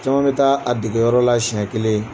Camanɛ bɛ taa a dege yɔrɔ la siɲɛ kelen.